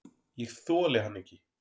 Ég þoli hann ekki.